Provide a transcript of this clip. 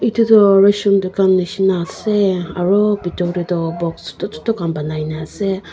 etutu ration dukan nishe na ase aru bitor te toh box chotu chotu khan banaikena ase.